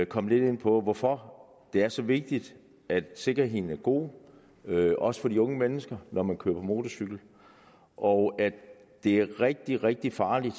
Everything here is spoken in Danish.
komme lidt ind på hvorfor det er så vigtigt at sikkerheden er god også for de unge mennesker når man kører på motorcykel og at det er rigtig rigtig farligt